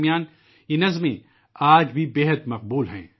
یہ نظمیں ادب کے چاہنے والوں میں آج بھی بہت مقبول ہیں